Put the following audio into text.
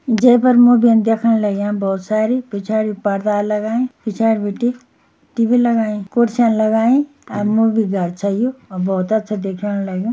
जै पर मूवियन देख्यण लग्यां भौत सारी। पिछाड़ि परदा लगाईं पिछाड़ि बिटि टी_वी लगाईं कुर्सियन लगाईं अर मूवी घर छ यू। अर भौत अच्छा देख्यण लाग्युं।